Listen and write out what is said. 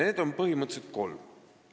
Neid on põhimõtteliselt kolm.